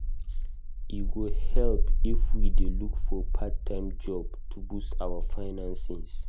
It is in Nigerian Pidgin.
E go help if we dey look for part-time job to boost our finances.